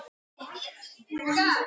Sandur, hvernig kemst ég þangað?